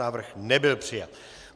Návrh nebyl přijat.